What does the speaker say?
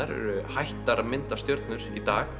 eru hættar að mynda stjörnur í dag